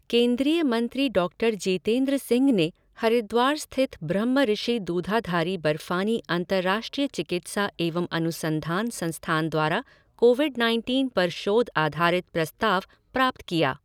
केंद्रीय मंत्री डॉक्टर जितेंद्र सिंह ने हरिद्वार स्थित ब्रह्मऋषि दूधाधारी बर्फानी अंतरराष्ट्रीय चिकित्सा एवं अनुसंधान संस्थान द्वारा कोविड नाइनटीन पर शोध आधारित प्रस्ताव प्राप्त किया।